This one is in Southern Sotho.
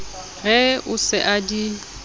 re o se a di